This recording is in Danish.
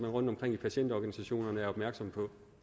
rundtomkring i patientorganisationerne også er opmærksom på